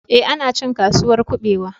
Ee, ana cin Kasuwar kuɓewa